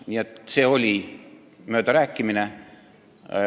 Nii et see oli möödarääkimine.